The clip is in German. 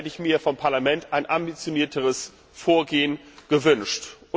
Da hätte ich mir vom Parlament ein ambitionierteres Vorgehen gewünscht.